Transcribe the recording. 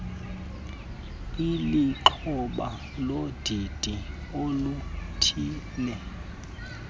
ulixhoba lodidi oluthile